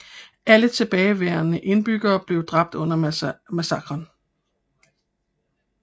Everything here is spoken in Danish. Alle tilbageværende indbyggere blev dræbt under massakren